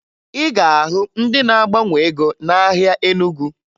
Ị ga-ahụ ndị na-agbanwe ego n'ahịa Enugu